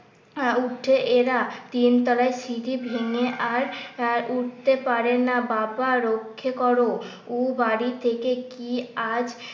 উঠে এরা তিনতলায় সিঁড়ি ভেঙে আর আহ উঠতে পারেনা। বাবা রক্ষে কর। উ বাড়ি থেকে কি আজ